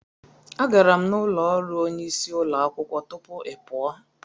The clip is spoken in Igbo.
Agara m n'ụlọ ọrụ onyeisi ụlọ akwụkwọ tupu ị pụọ.